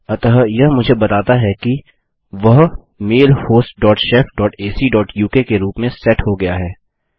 अतः यह मुझे बताता है कि वह mail host dot shef dot AC dot UK के रूप में सेट हो गया है